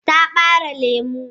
Ta bare lemu?